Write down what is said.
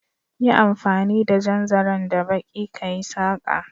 Yi amfani da jan zaren da baƙi kayi saƙa